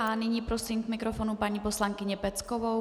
A nyní prosím k mikrofonu paní poslankyni Peckovou.